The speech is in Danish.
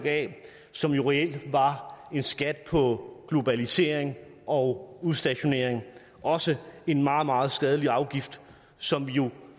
a som jo reelt var en skat på globalisering og udstationering også en meget meget skadelig afgift som vi jo